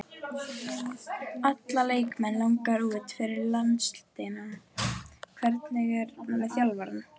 Alla leikmenn langar út fyrir landsteinana, hvernig er með þjálfarann?